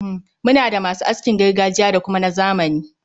Muna da ma su askin gargajiya da kuma na zamani.